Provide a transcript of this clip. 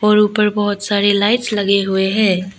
और ऊपर बहुत सारी लाइट्स लगे हुए हैं।